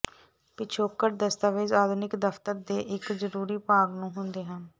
ਪਿਛੋਕੜ ਦਸਤਾਵੇਜ਼ ਆਧੁਨਿਕ ਦਫ਼ਤਰ ਦੇ ਇੱਕ ਜ਼ਰੂਰੀ ਭਾਗ ਨੂੰ ਹੁੰਦੇ ਹਨ